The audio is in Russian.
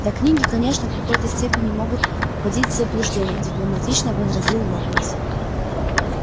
да книги конечно в какой-то степени могут вводить в заблуждение дипломатично возразил локонс